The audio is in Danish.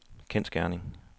kendsgerning